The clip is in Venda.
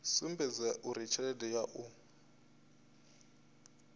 sumbedza uri tshelede ya u